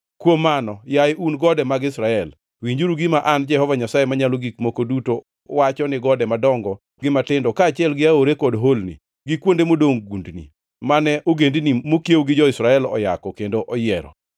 kuom mano, yaye un gode mag Israel, winjuru gima an Jehova Nyasaye Manyalo Gik Moko Duto wacho ni gode madongo gi matindo, kaachiel gi aore kod holni, gi kuonde modongʼ gundni, mane ogendini mokiewo gi jo-Israel oyako kendo oyiero.